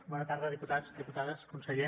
bona tarda diputats diputades conseller